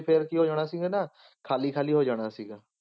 ਤੇ ਫਿਰ ਕੀ ਹੋ ਜਾਣਾ ਸੀਗਾ ਨਾ, ਖਾਲੀ ਖਾਲੀ ਹੋ ਜਾਣਾ ਸੀਗਾ।